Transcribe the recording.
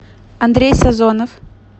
андрей сазонов